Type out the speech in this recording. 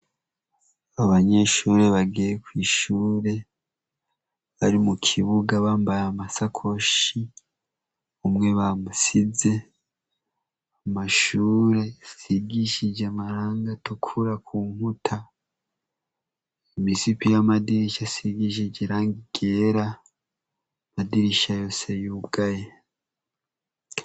Abanyeshure bagiye kw'ishure ari mu kibuga bambaye amasakoshi umwe bamusize amashure asigishije amaranga tukura ku nkuta imisiki y'amadirisi asigishije ranga igera amadirisha yose yubwaye.